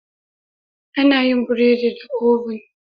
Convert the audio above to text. Ana yin yin burodi da "oven".